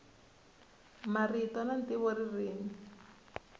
marito na ntivo ririmi